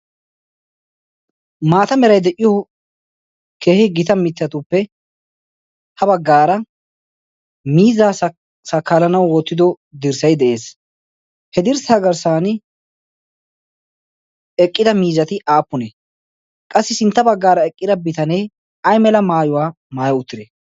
maata meray de'iyo kehi gita mittatuppe ha baggaara miizaa sakaalanawu oottido dirssayi de'ees he dirssaagarssan eqqida miizati aappunee qassi sintta baggaara eqqida bitanee ay mela maayuwaa maayo uttide